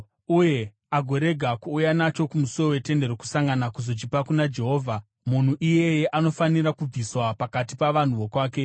uye agorega kuuya nacho kumusuo weTende Rokusangana kuzochipa kuna Jehovha, munhu iyeye anofanira kubviswa pakati pavanhu vokwake.